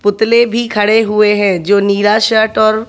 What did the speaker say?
पुतले भी खड़े हुए हैं जो नीला शर्ट और --